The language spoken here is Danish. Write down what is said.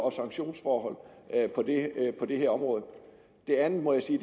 og sanktionsforhold på det her område det andet må jeg sige